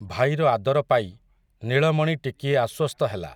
ଭାଇର ଆଦର ପାଇ, ନୀଳମଣି ଟିକିଏ ଆଶ୍ୱସ୍ତ ହେଲା ।